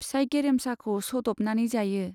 फिसाइ गेरेमसाखौ सद'बनानै जायो।